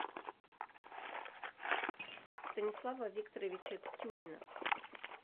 станислава викторовича тюрина